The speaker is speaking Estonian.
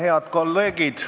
Head kolleegid!